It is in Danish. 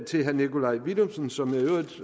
til herre nikolaj villumsen som